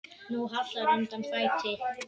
Nú hallar undan fæti.